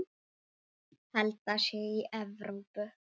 Held það sé í Evrópu.